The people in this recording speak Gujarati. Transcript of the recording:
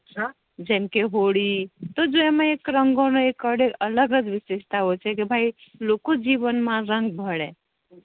હમ જેમ કે હોળી જો અમા રંગો નો એક અલગ વિસીસ્ટા ઓ છે કે ભાઈ લોકો જીવન મા રંગ ભળે